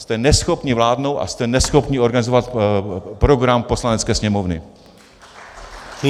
Jste neschopní vládnout a jste neschopní organizovat program Poslanecké sněmovny.